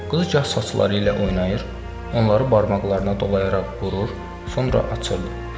Qız gah saçları ilə oynayır, onları barmaqlarına dolayaraq vurur, sonra açırdı.